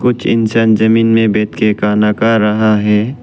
कुछ इंसान जमीन में बैठकर खाना खा रहा है।